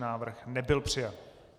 Návrh nebyl přijat.